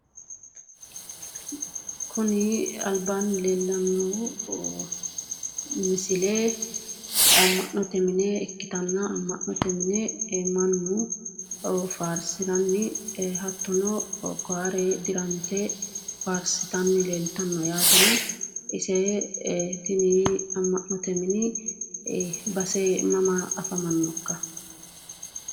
Kuni albaanni leellannohu misile amma'note mine ikkitanna, amma'note mine mannu faarsiranni hattono koyare dirante faarsitanni leeltanno yaatena ise tini amma'note mini base mama afamanno ikka?